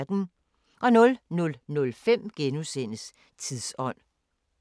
00:05: Tidsånd *